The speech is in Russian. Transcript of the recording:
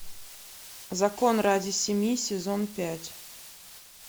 закон ради семьи сезон пять